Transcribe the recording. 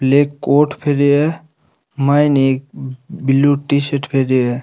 Black coat पहनो है माइन एक ब्लू टी शर्ट पहने है।